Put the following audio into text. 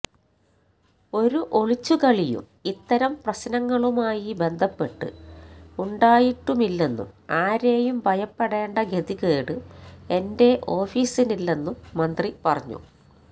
ഒരു ഒളിച്ചുകളിയും ഇത്തരം പ്രശ്നങ്ങളുമായി ബന്ധപ്പെട്ട് ഉണ്ടായിട്ടുമില്ലെന്നും ആരെയും ഭയപ്പെടേണ്ട ഗതികേട് എന്റെ ഓഫീസിനില്ലെന്നും മന്ത്രി പറഞ്ഞു